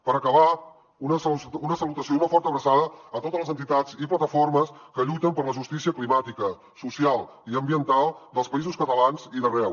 per acabar una salutació i una forta abraçada a totes les entitats i plataformes que lluiten per la justícia climàtica social i ambiental dels països catalans i d’arreu